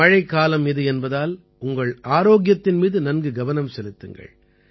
மழைக்காலம் இது என்பதால் உங்கள் ஆரோக்கியத்தின் மீது நன்கு கவனம் செலுத்துங்கள்